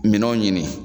Minɛnw ɲini